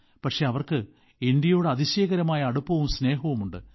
പക്ഷേ അവർക്ക് ഇന്ത്യയോട് അതിശയകരമായ അടുപ്പവും സ്നേഹവുമുണ്ട്